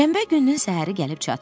Şənbə gününün səhəri gəlib çatdı.